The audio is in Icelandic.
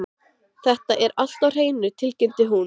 Þetta er allt á hreinu, tilkynnti hún.